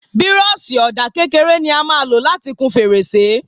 Bírọ́ọ̀ṣì ọ̀dà kékeré ni a máa lò láti kun fèrèsé.